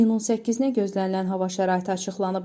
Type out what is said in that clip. İyunun 8-nə gözlənilən hava şəraiti açıqlanıb.